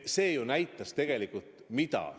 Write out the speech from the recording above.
See ju näitas tegelikult mida?